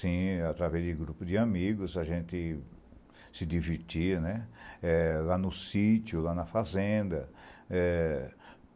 Sim, através de grupo de amigos, a gente se divertia lá no sítio, na fazenda, é...